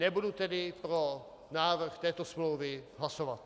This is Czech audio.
Nebudu tedy pro návrh této smlouvy hlasovat.